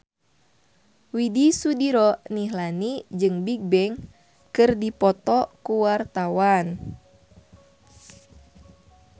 Widy Soediro Nichlany jeung Bigbang keur dipoto ku wartawan